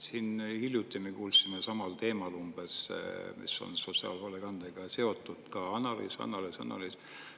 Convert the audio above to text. Siin hiljuti me kuulsime samal teemal umbes, mis on sotsiaalhoolekandega seotud, ka analüüs, analüüs, analüüs.